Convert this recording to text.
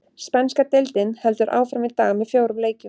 Spænska deildin heldur áfram í dag með fjórum leikjum.